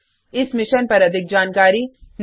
इस मिशन पर अधिक जानकारी निम्न लिंक पर उपलब्ध है